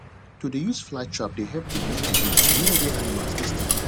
to dey use flly trap dey help reduce disease near where animals dey stay